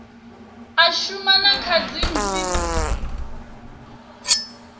a shuma na kha dzipmb